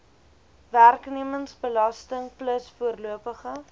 werknemersbelasting plus voorlopige